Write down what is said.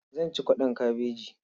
Zan ci kwaɗon kabeji.